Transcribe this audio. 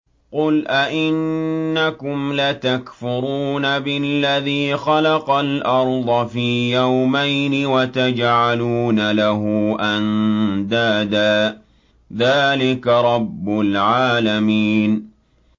۞ قُلْ أَئِنَّكُمْ لَتَكْفُرُونَ بِالَّذِي خَلَقَ الْأَرْضَ فِي يَوْمَيْنِ وَتَجْعَلُونَ لَهُ أَندَادًا ۚ ذَٰلِكَ رَبُّ الْعَالَمِينَ